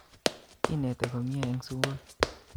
Kinete komie eng sukul